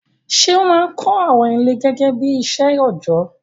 Ṣé ó máa ń kọ́ àwọn ilé gẹ́gẹ́ bí iṣẹ́ òjọ́?